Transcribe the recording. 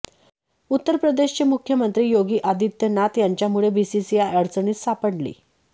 उत्तर प्रदेशचे मुख्यमंत्री योगी आदित्यनाथ यांच्यामुळे बीसीसीआय अडचणीत सापडली